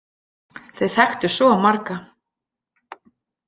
Þau þekktu svo marga.